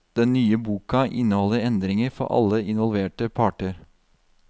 Den nye boka inneholder endringer for alle involverte parter.